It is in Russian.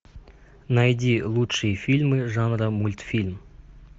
найди лучшие фильмы жанра мультфильм